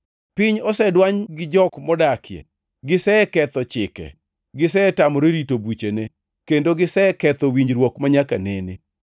Piny osedwany gi jok modakie, giseketho chike, gisetamore rito buchene, kendo giseketho winjruok manyaka nene.